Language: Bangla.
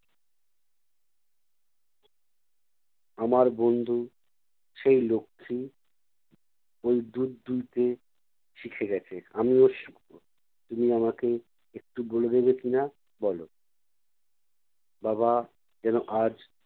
আমার বন্ধু সেই লক্ষী ওই দুধ দুইতে শিখে গেছে, আমিও শিখবো। তুমি আমাকে একটু বলে দেবে কি-না বলো। বাবা যেনো আজ